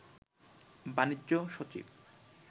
বাণিজ্য সচিব